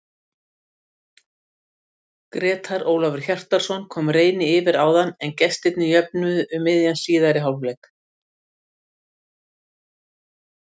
Grétar Ólafur Hjartarson kom Reyni yfir áður en gestirnir jöfnuðu um miðjan síðari hálfleik.